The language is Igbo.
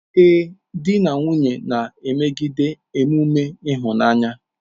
Ee, di na nwunye a na-emegide emume ịhụnanya.